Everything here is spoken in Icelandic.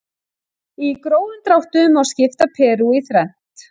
Í grófum dráttum má skipta Perú í þrennt.